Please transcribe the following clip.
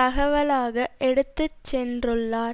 தகவலாக எடுத்து சென்றுள்ளார்